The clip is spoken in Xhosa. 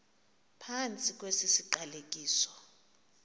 phantsi kwesi siqalekiso